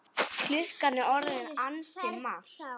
Klukkan er orðin ansi margt.